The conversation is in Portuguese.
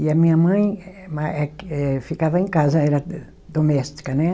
E a minha mãe eh ma, eh que ficava em casa, era doméstica, né?